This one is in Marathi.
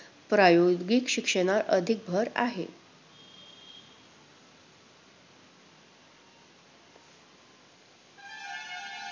प्रायोगिक शिक्षणावर अधिक भर आहे.